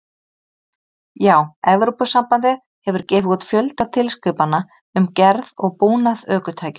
Já, Evrópusambandið hefur gefið út fjölda tilskipana um gerð og búnað ökutækja.